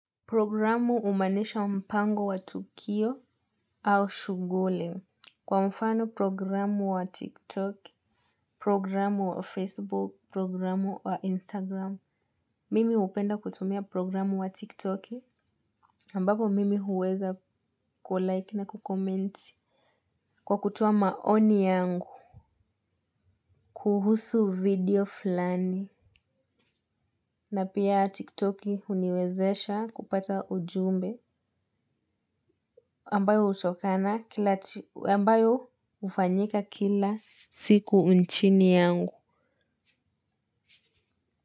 Programu humanisha mpango wa tukio au shughuli kwa mfano programu wa tiktok, programu wa facebook, programu wa instagram. Mimi upenda kutumia programu wa tiktok ambapo mimi huweza kulike na ku comment kwa kutoa maoni yangu, kuhusu video fulani. Na pia tiktoki huniwezesha kupata ujumbe ambayo hutokana, ambayo hufanyika kila siku nchini yangu.